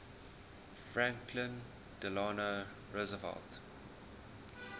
franklin delano roosevelt